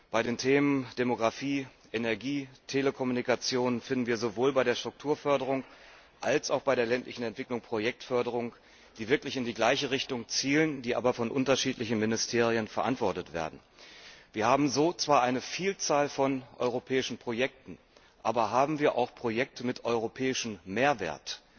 Bei den Themen Demographie, Energie und Telekommunikation finden wir sowohl bei der Strukturförderung als auch bei der ländlichen Entwicklung Projektförderungen, die wirklich in die gleiche Richtung zielen, die aber von unterschiedlichen Ministerien verantwortet werden. Wir haben so zwar eine Vielzahl von europäischen Projekten, aber haben wir auch Projekte mit europäischem Mehrwert?